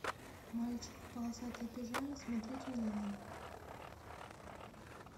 мальчик в полосатой пижаме смотреть онлайн